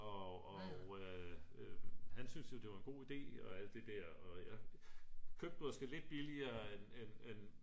og han synes jo det var en god ide og alt det der og jeg købte den måske lidt billigere end